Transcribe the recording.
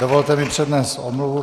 Dovolte mi přednést omluvu.